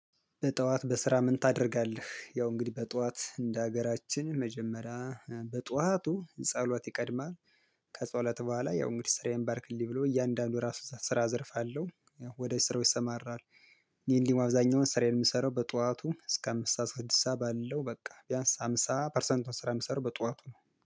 በጠዋት በስራ ምን? ታደርጋለህ ያው እንግዲህ በጠዋት እንደ ሀገራችን መጀመሪያ በጠዋቱ ጸሎት ይቀድማል። ከጸሎት በኋላ ያው እንግዲህ ስራዬን ባርክልኝ ብሎ እያንዳንዱ ራሱ የስራ ዘርፍ አለሁ። ወደ ስራው ይሰማራል። ይሄን ደግሞ አብዛኛውን ስራዬን የምሰራው ጠዋቱ እስከ አምስት ሰዓት ስድስት ሰዓት ባለው በቃ ቢያንስ ሃምሳ ፐርሰንቱን ስራ የምሰራው በጠዋቱ ነው